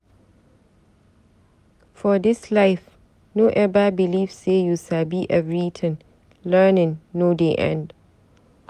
For dis life, no eva beliv sey you sabi everytin. Learning no dey end.